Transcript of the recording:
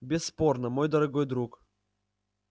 бесспорно мой дорогой друг